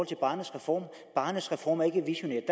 til barnets reform at barnets reform ikke er visionær